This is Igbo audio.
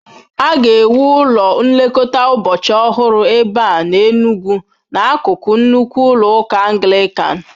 A ga-ewu ụlọ nlekọta ụbọchị ọhụrụ ebe a n'Enugwu, n'akụkụ nnukwu ụlọ ụka Anglican.